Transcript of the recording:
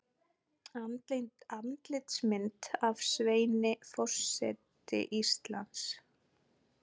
Andlitsmynd af Sveini Forseti Íslands.